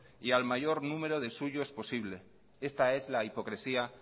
y al mayor número de suyos posible esta es la hipocresía